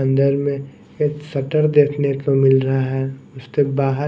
अंदर मे एक शटर देखने को मिल रहा है उसके बाहर--